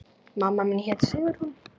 Mamma mín hét Sigrún.